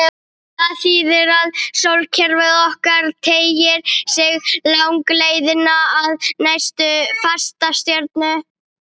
Það þýðir að sólkerfið okkar teygir sig langleiðina að næstu fastastjörnu.